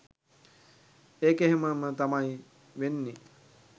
ඒක එහෙම ම තමයි වෙන්නෙ